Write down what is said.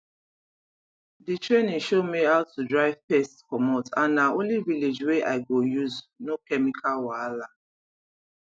the training show me how to drive pest comot and na only village way i go use no chemical wahala